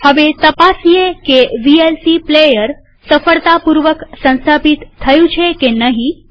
હવે તપાસીએ કે વીએલસી પ્લેયર સફળતાપૂર્વક સંસ્થાપિત થયું છે કે નહીં